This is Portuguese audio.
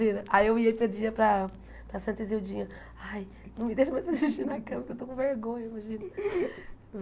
Aí eu ia e pedia para para a Santa Izildinha, ai não me deixe mais fazer xixi na cama, porque eu estou com vergonha, imagina.